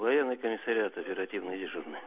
военный комиссариат оперативный дежурный